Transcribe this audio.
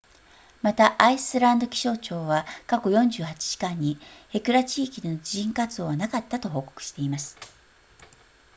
またアイスランド気象庁は過去48時間にヘクラ地域での地震活動はなかったと報告しています